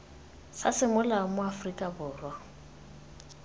sa semolao mo aforika borwa